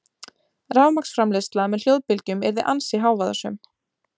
Rafmagnsframleiðsla með hljóðbylgjum yrði ansi hávaðasöm.